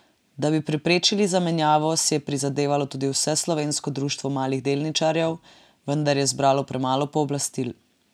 Da bi preprečili zamenjavo, si je prizadevalo tudi vseslovensko društvo malih delničarjev, vendar je zbralo premalo pooblastil.